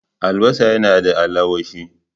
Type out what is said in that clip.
Albasa yana da allawashi.